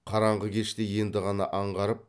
қараңғы кеште енді ғана аңғарып